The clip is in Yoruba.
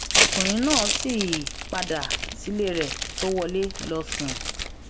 ọkùnrin náà sì padà sílé rẹ tó wọlé lọọ sùn